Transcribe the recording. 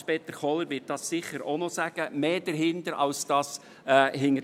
Hans-Peter Kohler wird es sicher auch noch erwähnen.